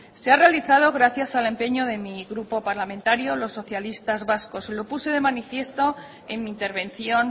se ha realizado gracias al empeño de mi grupo parlamentario los socialistas vascos y lo puse de manifiesto en mi intervención